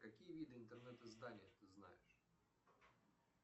какие виды интернет изданий ты знаешь